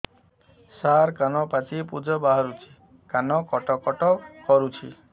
ସାର କାନ ପାଚି ପୂଜ ବାହାରୁଛି କାନ କଟ କଟ କରୁଛି